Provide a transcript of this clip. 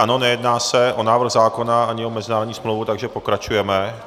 Ano, nejedná se o návrh zákona ani o mezinárodní smlouvu, takže pokračujeme.